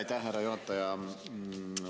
Aitäh, härra juhataja!